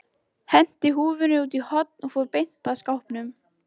Henti húfunni út í horn og fór beint að skápnum.